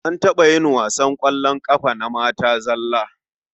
An taɓa yin wasan ƙwallon ƙafa na mata zalla.